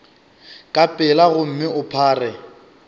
ka pela gomme o phare